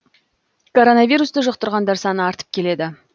коронавирусты жұқтырғандар саны артып келеді